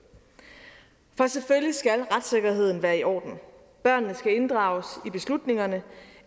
for selvfølgelig skal retssikkerheden være i orden børnene skal inddrages i beslutningerne